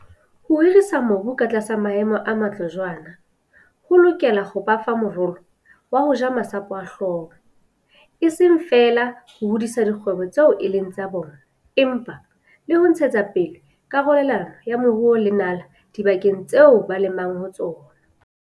Ho hirisa mobu ka tlasa maemo a matle jwaana ho lokela ho ba fa morolo wa ho ja masapo a hlooho, e seng feela ho hodisa dikgwebo tseo e leng tsa bona empa le ho ntshetsa pele karolelano ya moruo le nala dibakeng tseo ba lemang ho tsona.